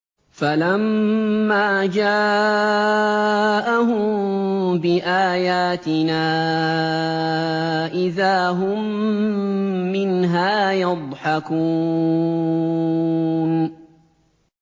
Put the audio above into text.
فَلَمَّا جَاءَهُم بِآيَاتِنَا إِذَا هُم مِّنْهَا يَضْحَكُونَ